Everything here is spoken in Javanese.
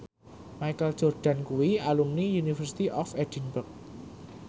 Michael Jordan kuwi alumni University of Edinburgh